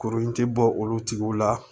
Kurun in ti bɔ olu tigiw la